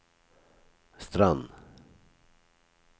Strand